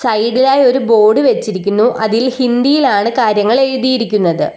സൈഡിലായി ഒരു ബോർഡ് വെച്ചിരിക്കുന്നു അതിൽ ഹിന്ദിയിലാണ് കാര്യങ്ങൾ എഴുതിയിരിക്കുന്നത്.